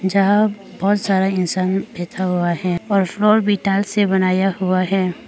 जहां बहुत सारा इंसान बैठा हुआ है और फ्लोर भी टाइल्स से बनाया हुआ है।